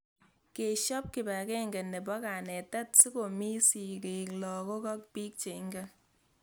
Keshop kipag'eng'e nepo kanetet siko mii sig'ik , lakok, ak pik che ingen